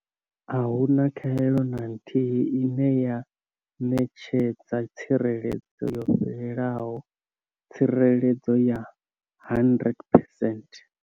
A hu na khaelo na nthihi ine ya ṋetshedza tsireledzo yo fhelelaho tsireledzo ya 100 percent.